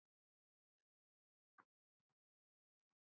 Ertu byrjaður á annarri bók?